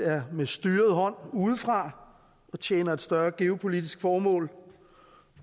er med styret hånd udefra og tjener et større geopolitisk formål